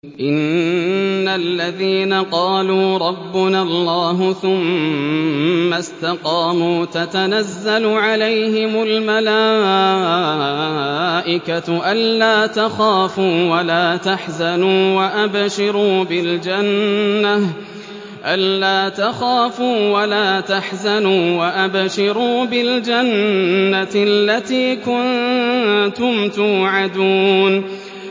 إِنَّ الَّذِينَ قَالُوا رَبُّنَا اللَّهُ ثُمَّ اسْتَقَامُوا تَتَنَزَّلُ عَلَيْهِمُ الْمَلَائِكَةُ أَلَّا تَخَافُوا وَلَا تَحْزَنُوا وَأَبْشِرُوا بِالْجَنَّةِ الَّتِي كُنتُمْ تُوعَدُونَ